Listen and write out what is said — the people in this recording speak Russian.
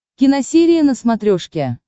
киносерия на смотрешке